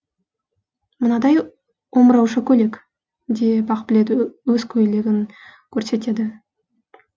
мынадай омырауша көйлек деп ақбілет өз көйлегін көрсетеді